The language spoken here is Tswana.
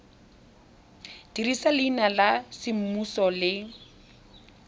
dirisa leina la semmuso le